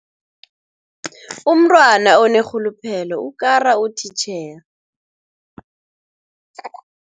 Umntwana onerhuluphelo ukara utitjhere.